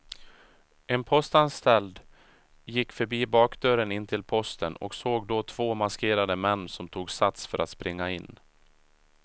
En postanställd gick förbi bakdörren in till posten och såg då två maskerade män som tog sats för att springa in.